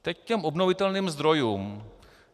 Teď k těm obnovitelným zdrojům.